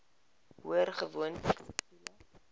hoor gewoonlik siviele